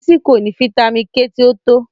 Bísi kò ní fítamì K tì o tó